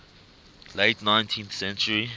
late nineteenth century